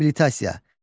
Abilitasiya.